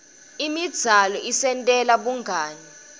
imidzalo isentela bungani